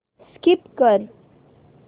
skip कर